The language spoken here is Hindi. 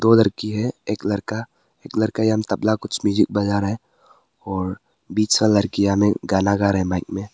लड़की है एक लड़का एक लड़का तबला कुछ म्यूजिक बजा रहा है और बीच लड़कीयाने गाना गा रहे है माइक में।